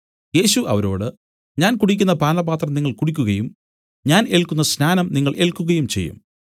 യേശു അവരോട് ഞാൻ കുടിക്കുന്ന പാനപാത്രം നിങ്ങൾ കുടിക്കുകയും ഞാൻ ഏല്ക്കുന്ന സ്നാനം നിങ്ങൾ ഏല്ക്കുകയും ചെയ്യും